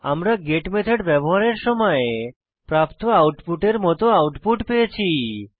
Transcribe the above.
আমরা get method ব্যবহারের সময় প্রাপ্ত আউটপুটের মত আউটপুট পেয়েছি